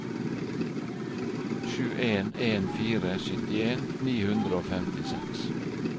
sju en en fire syttien ni hundre og femtiseks